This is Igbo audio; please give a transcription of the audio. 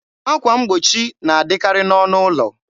akwa mgbochi na adịkarị n'ọnụ ụlọ.